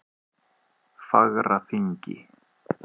Fagraþingi